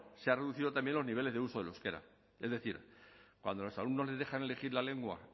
se ha reducido también los niveles de uso del euskera es decir cuando a los alumnos les dejan elegir la lengua